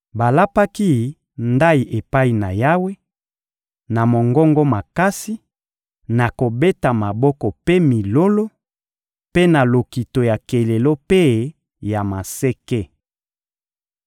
Balapaki ndayi epai na Yawe, na mongongo makasi, na kobeta maboko mpe milolo, mpe na lokito ya kelelo mpe ya maseke.